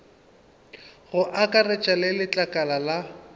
go akaretša le letlakala la